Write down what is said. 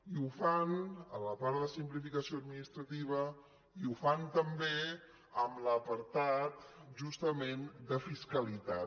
i ho fan a la part de simplificació administrativa i ho fan també en l’apartat justament de fiscalitat